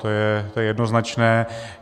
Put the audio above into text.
To je jednoznačné.